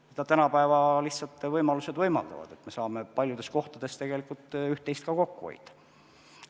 Seda tänapäeva võimalused lihtsalt võimaldavad, et me saame paljudes kohtades tegelikult ka kokku hoida.